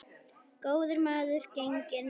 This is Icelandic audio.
Góður maður genginn er.